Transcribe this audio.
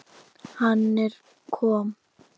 Hann er kom